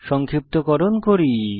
সংক্ষিপ্তকরণ করি